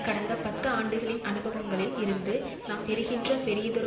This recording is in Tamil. கடந்த பத்து ஆண்டுகளின் அனுபவங்களில் இருந்து நாம் பெறுகின்ற பெரியதொரு